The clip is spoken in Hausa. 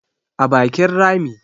a bakin Rami